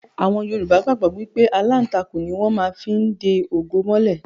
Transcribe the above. Yorùbá gbàgbọ́ wípé aláǹtakùn ni wón má fí ń de ògo mọ́lẹ̀